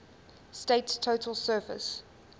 state's total surface